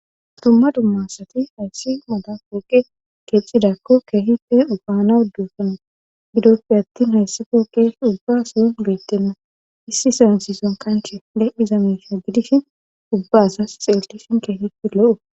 dumma dumma asati hayssi mala pooqe keexidako keehipe baanawu doosona;gidope attin hayssi pooqe ubba asawu beettenna;issiza issiza kanchche de7iza miishsha gidishin ubba asas xeellishin keehippe lo7okko.